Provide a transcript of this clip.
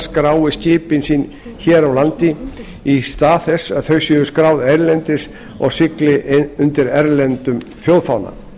skrái skipin sín hér á landi í stað þess að þau séu skráð erlendis og sigli undir erlendum þjóðfána